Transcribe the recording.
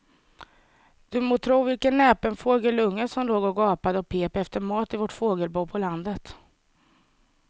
Du må tro vilken näpen fågelunge som låg och gapade och pep efter mat i vårt fågelbo på landet.